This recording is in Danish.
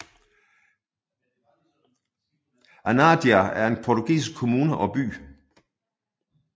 Anadia er en portugisisk kommune og by